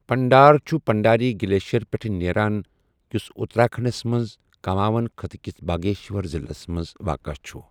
پنڈار چھُ پنڈاری گلیشیر پٮ۪ٹھٕہ نیران، یُس اٗتراکھنڈس منٛز کٗماؤں خٕطہٕ کِس باگیشور ضِلعس منٛز واقع چھٗ ۔